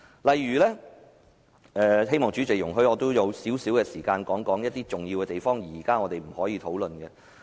我希望代理主席容許我用少許時間，指出一些重要而我們現在不能討論的問題。